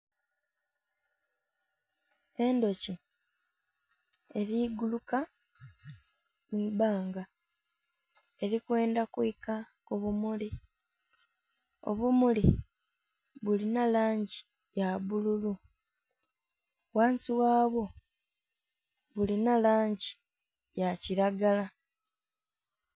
Endhuki eli kuguluka mu ibbanga eli kwendha kwika ku bumuli, obumuli bulina langi ya bbululu ghansi ghabwo bulina langi ya kilagala